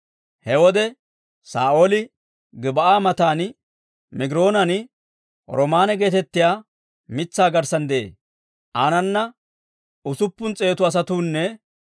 He wode Saa'ooli Gib'aa matan Migiroonan, roomaanne geetettiyaa mitsaa garssan de'ee. Aanana usuppun s'eetu asatuunne